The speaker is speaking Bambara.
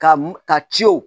Ka m ka ciw